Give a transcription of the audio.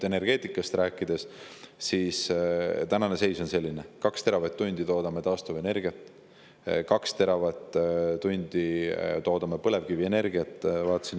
Energeetikast rääkides on tänane seis selline, et me toodame 2 teravatt-tundi taastuvenergiat ja 2 teravatt-tundi toodame põlevkivienergiat.